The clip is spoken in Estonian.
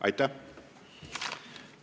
Aitäh!